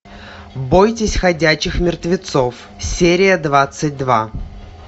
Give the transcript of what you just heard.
бойтесь ходячих мертвецов серия двадцать два